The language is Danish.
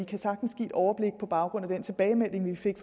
kan sagtens give et overblik på baggrund af den tilbagemelding vi fik